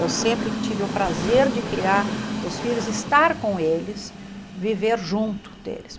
Eu sempre tive o prazer de criar os filhos, estar com eles, viver junto deles.